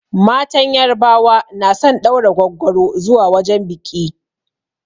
Matan yarbawa na son ɗaura gwaggwaro zuwa wajen biƙi